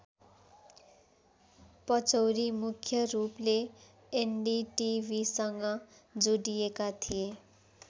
पचौरी मुख्य रूपले एनडीटिभिसँग जोडिएका थिए।